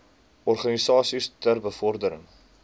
organisasies ter bevordering